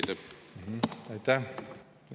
Aitäh!